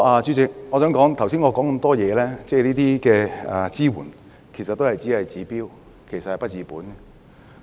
主席，我剛才提到的支援其實只是治標而不治本。